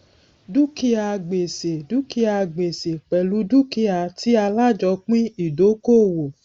dúkìá gbèsè dúkìá gbèsè pẹlú dúkìá tí alájòopín ìdókòwò